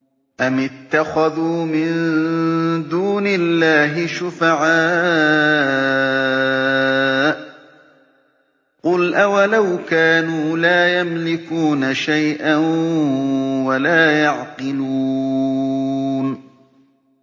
أَمِ اتَّخَذُوا مِن دُونِ اللَّهِ شُفَعَاءَ ۚ قُلْ أَوَلَوْ كَانُوا لَا يَمْلِكُونَ شَيْئًا وَلَا يَعْقِلُونَ